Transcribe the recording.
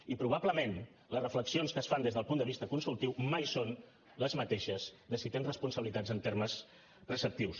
i probablement les reflexions que es fan des del punt de vista consultiu mai són les mateixes de si tens responsabilitats en termes preceptius